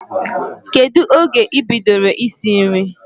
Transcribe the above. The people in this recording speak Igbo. Kedụ oge ị bidoro isi nri?